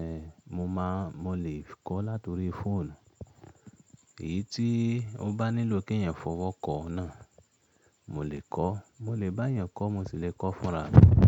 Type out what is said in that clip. eh, mo máa, mo lè kọ láti orí fóònù. Èyí tí ó bá nílò kí èèyàn fọwọ́ kọ ọ́ náà, mo lè kọ. Mo lè bá èèyàn kọ́, mo sì lè kọ fúnra rẹ̀